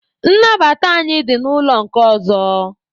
Nnabata anyị dị n'ụlọ nke ọzọ.